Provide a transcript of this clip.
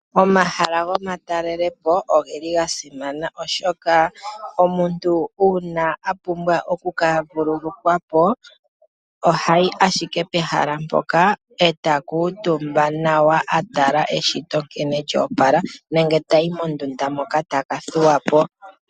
Omahala gomatalelopo oga simana, oshoka omuntu uuna a pumbwa oku ka vululukwa po, oha yi ashike pehala mpoka, e ta kuutumba nawa a tala eshito nkene lya opala, nenge ta yi mondunda moka ta ka thuwa po.